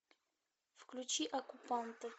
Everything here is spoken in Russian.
включи оккупанты